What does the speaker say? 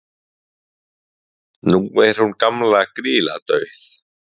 nú er hún gamla grýla dauð